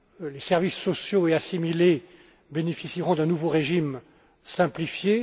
Les services sociaux et assimilés bénéficieront d'un nouveau régime simplifié.